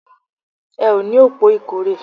Ẹ o ní òpò ìkórè